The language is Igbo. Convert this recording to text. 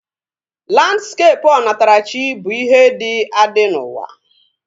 Landskepụ onatarachi bụ ihe dị adị n'ụwa